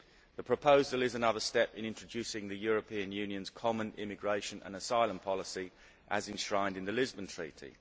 The proposal is another step in introducing the European Union's common immigration and asylum policy as enshrined in the Lisbon Treaty.